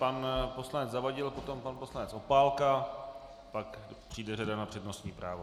Pan poslanec Zavadil, potom pan poslanec Opálka, pak přijde řada na přednostní právo.